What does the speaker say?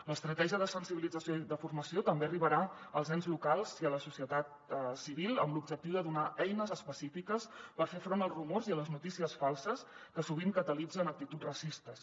l’estratègia de sensibilització i de formació també arribarà als ens locals i a la societat civil amb l’objectiu de donar eines específiques per fer front als rumors i a les notícies falses que sovint catalitzen actituds racistes